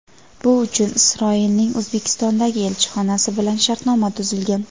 bu uchun Isroilning O‘zbekistondagi elchixonasi bilan shartnoma tuzilgan.